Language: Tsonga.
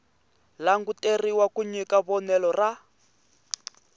languteriwa ku nyika vonelo ra